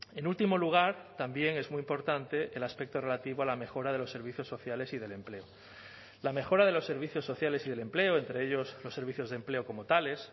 en último lugar también es muy importante el aspecto relativo a la mejora de los servicios sociales y del empleo la mejora de los servicios sociales y del empleo entre ellos los servicios de empleo como tales